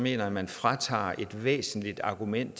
jeg at man fratages et væsentligt argument